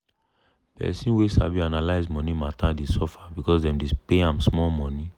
person wey sabi analyze money matter dey suffer because dem dey pay ahm small money.